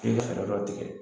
f'i ka fɛrɛ dɔ tigɛ